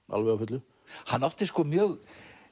alveg á fullu hann átti mjög